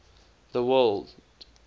the word